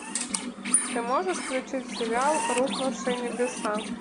ты можешь включить сериал рухнувшие небеса